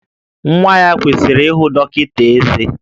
Nwa ya kwesịrị ihụ dọkịta ezé